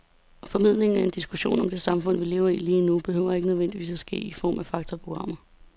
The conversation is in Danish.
Formidlingen af en diskussion om det samfund, vi lever i lige nu, behøver ikke nødvendigvis at ske i form af faktaprogrammer.